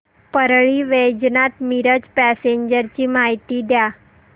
Parli Vaijnath Miraj passenger ची माहिती द्या